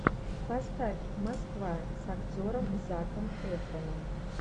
поставь москва с актером заком эфраном